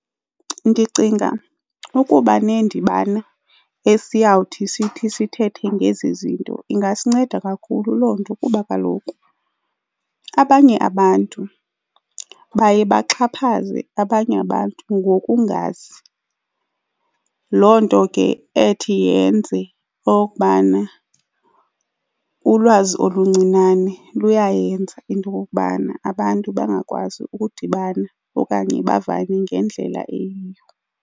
Ndicinga ukuba neendibano esiyawuthi sithi sithethe ngezi zinto ingasinceda kakhulu loo nto kuba kaloku abanye abantu baye baxhaphaze abanye abantu ngokungazi. Loo nto ke ethi yenze okubana ulwazi oluncinane luyayenza into okokubana abantu bangakwazi ukudibana okanye bavane ngendlela eyiyo.